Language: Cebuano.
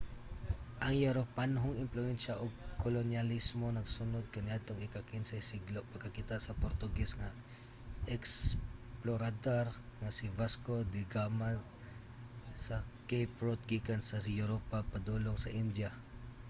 ang europanhong impluwensya ug kolonyalismo nagsunod kaniadtong ika-15 siglo pagkakita sa portuges nga eksplorador nga si vasco da gama sa cape route gikan sa europa padulong sa india